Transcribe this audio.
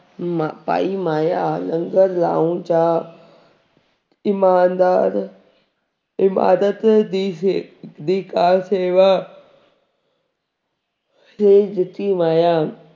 ਮ ਪਾਈ ਮਾਇਆ ਲੰਗਰ ਲਾਉਣ ਜਾਂ ਇਮਾਨਦਾਰ ਇਮਾਰਤ ਦੀ ਸੇ ਦੀ ਕਾਰਸੇਵਾ ਲਈ ਦਿੱਤੀ ਮਾਇਆ